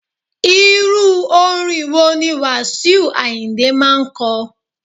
Irú orin wo ni Wasiu Ayinde máa ń ko?